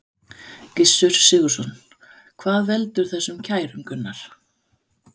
Gissur Sigurðsson: Hvað veldur þessum kærum, Gunnar?